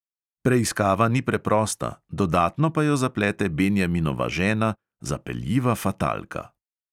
Preiskava ni preprosta, dodatno pa jo zaplete benjaminova žena, zapeljiva fatalka...